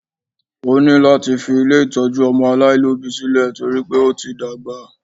Ó ní láti fi ilé ìtọ́jú ọmọ aláìlóbìí sílẹ̀ torí pé ó ti dàgbà